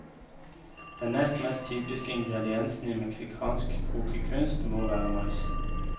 Den nest mest typiske ingrediensen i meksikansk kokekunst må være maisen.